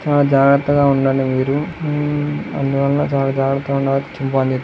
చాలా జాగ్రత్తగా ఉండాలి మీరు. ఉమ్ అందువల్ల చాలా జాగ్రతగా ఉండాలి చింపాంజీ తో.